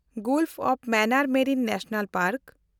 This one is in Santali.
golf of Mannar marine national park